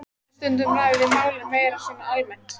En stundum ræðum við málin meira svona almennt.